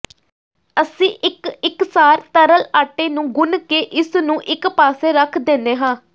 ਅਸੀਂ ਇੱਕ ਇਕਸਾਰ ਤਰਲ ਆਟੇ ਨੂੰ ਗੁਨ੍ਹ ਕੇ ਇਸ ਨੂੰ ਇਕ ਪਾਸੇ ਰੱਖ ਦਿੰਦੇ ਹਾਂ